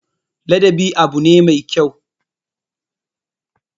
Ladabi abu ne me kyau.